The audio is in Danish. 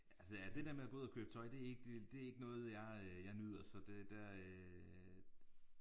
Altså ja det der med at gå ud og købe tøj det er ikke det er ikke noget jeg jeg nyder så det der øh